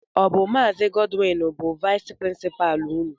Ọ bụ Maazi Godwin bụ vais prinsipa ụnụ?